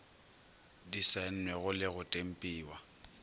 di saennwego le go tempiwa